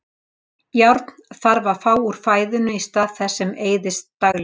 Járn þarf að fá úr fæðinu í stað þess sem eyðist daglega.